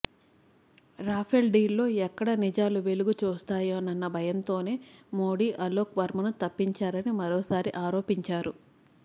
Rafale డీల్లో ఎక్కడ నిజాలు వెలుగుచూస్తాయోనన్న భయంతోనే మోదీ అలోక్ వర్మను తప్పించారని మరోసారి ఆరోపించారు